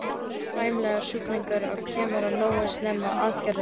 Horfur eru sæmilegar ef sjúklingurinn kemur nógu snemma til aðgerðar.